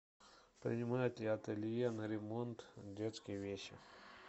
принимает ли ателье на ремонт детские вещи